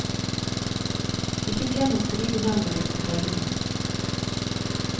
Ikke glem å skrive navnet ditt på tegningen.